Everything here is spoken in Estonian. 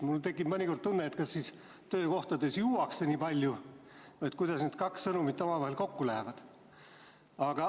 Mul tekib mõnikord tunne, et kas siis töökohtades juuakse nii palju või kuidas need kaks sõnumit omavahel kokku lähevad.